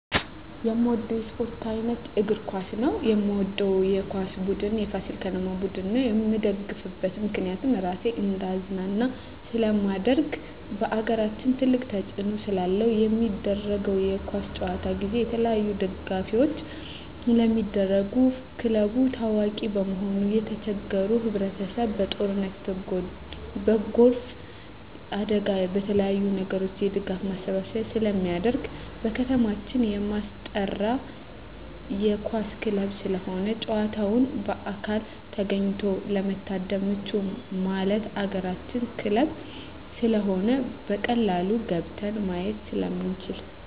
የምወደው የስፓርት አይነት እግር ኳስ ነው። የምደግፈው የኳስ ቡድን የፋሲል ከነማ ቡድን ነው። የምደግፍበት ምክንያት ራሴን እንዳዝናና ስለማደርግ በአገራችን ትልቅ ተፅዕኖ ስላለው። በሚደረገው የኳስ ጨዋታ ጊዜ የተለያዪ ድጋፎች ስለሚደረጉ ክለቡ ታዋቂ በመሆኑ የተቸገሩ ህብረቸሰብ በጦርነት በጎርፍ አደጋ በተለያዪ ነገሮች የድጋፍ ማሰባሰቢያ ስለሚደረግ። በከተማችን የማስጠራ የኳስ ክለብ ስለሆነ ጨዋታውን በአካል ተገኝቶ ለመታደም ምቹ ማለት የአገራችን ክለብ ስለሆነ በቀላሉ ገብተን ማየት ስለምንችል።